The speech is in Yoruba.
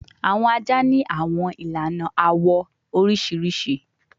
Awọn aja ni awọn ilana awọ oriṣiriṣi